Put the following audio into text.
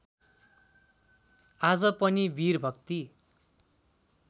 आज पनि वीर भक्ति